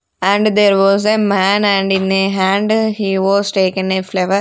and there was a man and in a hand he was taken a flower.